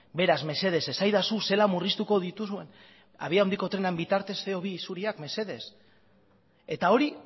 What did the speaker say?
beraz mesedez esaidazu zelan murriztuko dituzuen abiadura handiko trenaren bitartez ce o bi isuriak mesedez eta hori